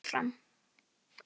Og hann hélt áfram.